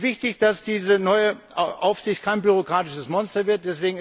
Es ist wichtig, dass diese neue Aufsicht kein bürokratisches Monster wird.